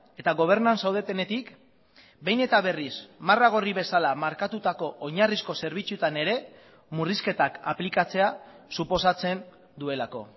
eta gobernuan zaudetenetik behin eta berriz marra gorri bezala markatutako oinarrizko zerbitzuetan ere murrizketak aplikatzea suposatzen duelako